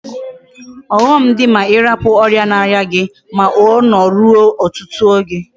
Oghom di ma irapu oria na aria gi, ma Ono rue otutu oge